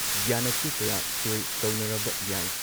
ꯃꯇꯨꯡꯗ ꯌꯥꯟꯅꯆꯦ ꯀꯌꯥ ꯁꯣꯏ ꯇꯧꯅꯔꯕ ꯌꯥꯏ꯫